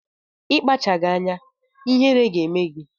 Ị kpachaghị anya, ihere ga-eme gị!